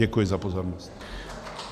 Děkuji za pozornost.